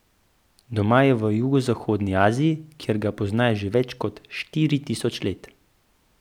Doma je v jugovzhodni Aziji, kjer ga poznajo že več kot štiri tisoč let.